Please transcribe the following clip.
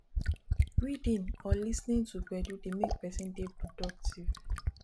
reading or lis ten ing to gbedu dey make person dey productive